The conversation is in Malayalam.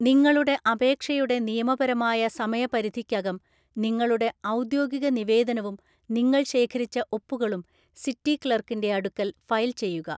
നിങ്ങളുടെ അപേക്ഷയുടെ നിയമപരമായ സമയപരിധിക്കകം നിങ്ങളുടെ ഔദ്യോഗിക നിവേദനവും നിങ്ങൾ ശേഖരിച്ച ഒപ്പുകളും സിറ്റി ക്ലർക്കിന്റെ അടുക്കൽ ഫയൽ ചെയ്യുക.